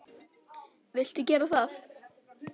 Viltu gera það?